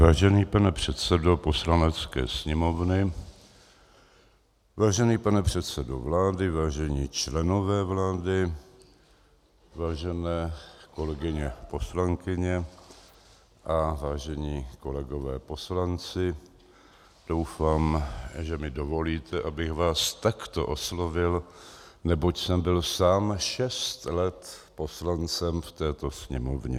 Vážený pane předsedo Poslanecké sněmovny, vážený pane předsedo vlády, vážení členové vlády, vážené kolegyně poslankyně a vážení kolegové poslanci, doufám, že mi dovolíte, abych vás takto oslovil, neboť jsem byl sám šest let poslancem v této Sněmovně.